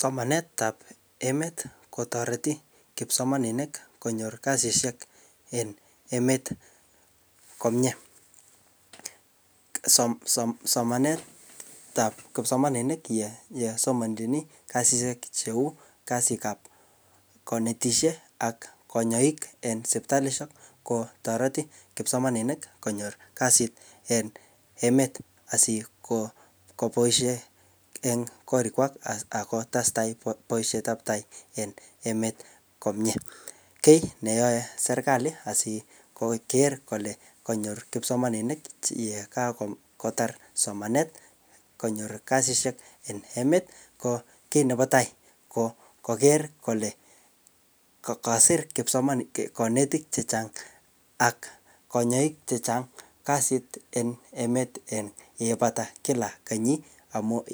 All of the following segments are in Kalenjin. Somanetab emet kotoreti kipsomaninik konyor kasisiek en emet komie, chesomonjin kasit ab konetisiet ak konyoik en sipitalisiek kotoreti kipsomaninik konyor kasit en emet asikonyor boisiet en korikwai akotestai bandaptai en emet komie, kiit neyoe serkali ko koker kole kanyor kipsomaninik chekatar somanet konyor kasisiek en emet ko kiit nebo tai ko koker kole kasir kanetik chechang' ak kanyoik chechang' yeibata kenyit amun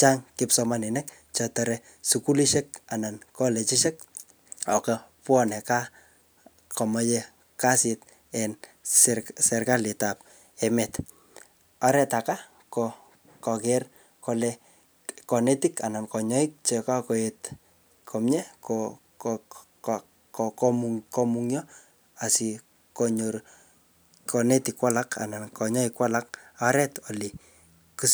chang' kipsomaninik chetore sukulisiek ako bwone kaa komoe kasit en serkalit, oret ake ko koker kole kanetik ak konyoik chekokoet komie komung'yo akikonyor konetik ak konyoik ole siktoi rapinik.